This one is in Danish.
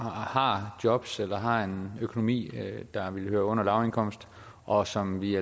har jobs eller har en økonomi der hører under lavindkomst og som vi i